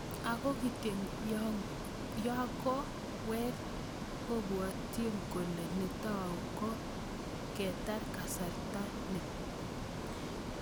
Ako kityo yakokowek, abwotinkole netau ko ketar kasarta ni.